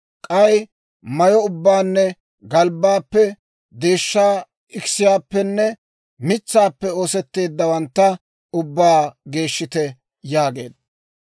K'ay mayyo ubbaanne galbbaappe, deeshshaa ikiseppenne mitsaappe oosetteeddawantta ubbaa geeshshite» yaageedda.